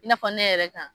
I n'a fɔ ne yɛrɛ kan